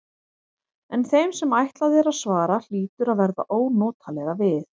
En þeim sem ætlað er að svara hlýtur að verða ónotalega við.